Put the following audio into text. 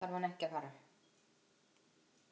Lengra þarf hann ekki að fara.